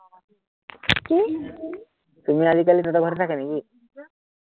চুমি আজিকালি তঁহতৰ ঘৰতে থাকে নেকি কি?